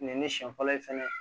Nin ye ne siɲɛ fɔlɔ ye fɛnɛ